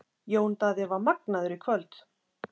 Jón Daði var magnaður í kvöld.